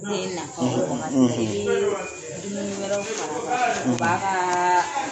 Den na ba , n'i ye dumuni wɛrɛw fara kan , o b'a ka